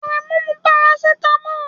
Aremu n mu parasitámọ́lù